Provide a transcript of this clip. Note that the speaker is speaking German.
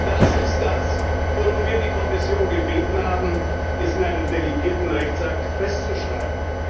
Aber genau das ist es, worum wir die Kommission gebeten haben es in einem delegierten Rechtsakt festzuschreiben.